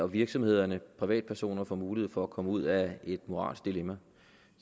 virksomheder og privatpersoner får mulighed for at komme ud af et moralsk dilemma